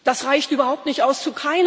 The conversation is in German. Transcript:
Das reicht überhaupt nicht aus.